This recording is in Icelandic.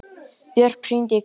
Björk, hringdu í Kristel.